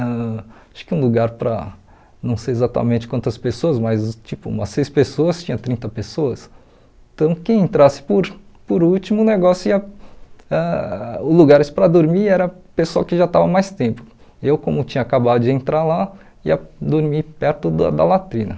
ãh acho que um lugar para, não sei exatamente quantas pessoas, mas tipo umas seis pessoas, tinha trinta pessoas, então quem entrasse por por último o negócio ia, ãh o lugares para dormir era o pessoal que já estava mais tempo, eu como tinha acabado de entrar lá, ia dormir perto da da latrina.